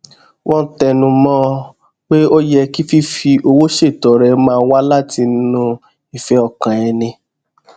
wón tẹnu mó ọn pé ó yẹ kí fífi owó ṣètọrẹ máa wá látinú ìfé ọkàn ẹni